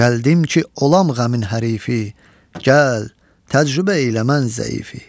Gəldim ki olam qəmin hərifi, gəl, təcrübə elə mən zəifi.